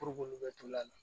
Puruk'olu bɛ to a la